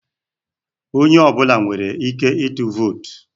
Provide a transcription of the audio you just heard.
Onye ọ bụla nwere ike ịtụ vootu.